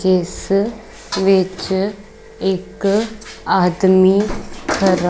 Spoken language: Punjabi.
ਜਿਸ ਵਿੱਚ ਇੱਕ ਆਦਮੀ ਖਰਾ--